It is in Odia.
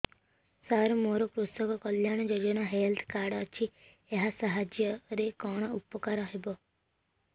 ସାର ମୋର କୃଷକ କଲ୍ୟାଣ ଯୋଜନା ହେଲ୍ଥ କାର୍ଡ ଅଛି ଏହା ସାହାଯ୍ୟ ରେ କଣ ଉପକାର ହବ